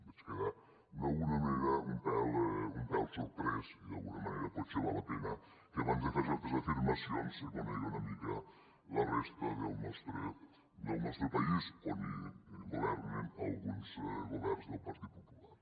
vaig quedar d’alguna manera un pèl sorprès i d’alguna manera potser val la pena que abans de fer certes afirmacions se conegui una mica la resta del nostre país on governen alguns governs del partit popular